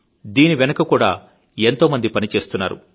దీని వెనక కూడా ఎంతో మంది పని చేస్తున్నారు